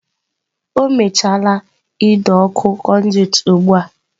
O mechaala ido okụ konduiti ugbu a.